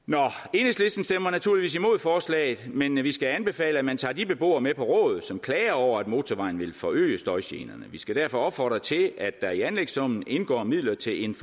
enhedslisten stemmer naturligvis imod forslaget men vi skal anbefale at man tager de beboere med på råd som klager over at motorvejen vil forøge støjgenerne vi skal derfor opfordre til at der i anlægssummen indgår midler til en